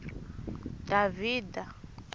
davhida